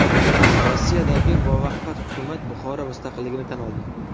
Rossiyadagi Muvaqqat hukumat Buxoro mustaqilligini tan oldi.